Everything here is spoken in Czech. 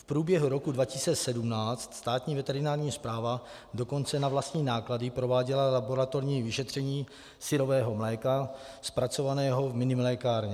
V průběhu roce 2017 Státní veterinární správa dokonce na vlastní náklady prováděla laboratorní vyšetření syrového mléka zpracovaného v minimlékárně.